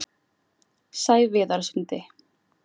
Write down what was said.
Sæviðarsundi